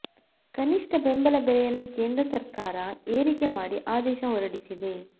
ಕನಿಷ್ಠ ಬೆಂಬಲ ಬೆಲೆಯನ್ನು ಕೇಂದ್ರ ಸರ್ಕಾರ ಏರಿಕೆ ಮಾಡಿ ಆದೇಶ ಹೊರಡಿಸಿದೆ